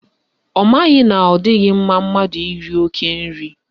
Ọ maghị na ọ dịghị mma mmadụ iri oke nri